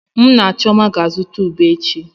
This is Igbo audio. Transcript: Mụ na Chioma ga-azụta ube echi.